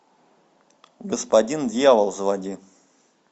господин дьявол заводи